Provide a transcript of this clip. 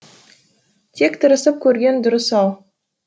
тек тырысып көрген дұрыс ау